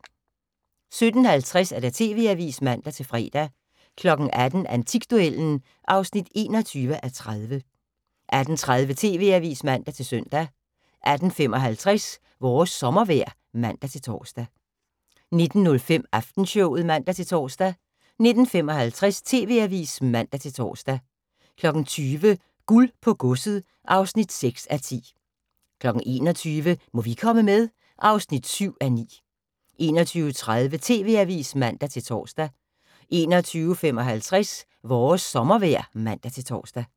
17:50: TV-avisen (man-fre) 18:00: Antikduellen (21:30) 18:30: TV-avisen (man-søn) 18:55: Vores sommervejr (man-tor) 19:05: Aftenshowet (man-tor) 19:55: TV-avisen (man-tor) 20:00: Guld på godset (6:10) 21:00: Må vi komme med? (7:9) 21:30: TV-avisen (man-tor) 21:55: Vores sommervejr (man-tor)